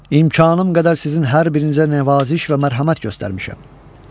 İmkanım qədər sizin hər birinizə nəvaziş və mərhəmət göstərmişəm.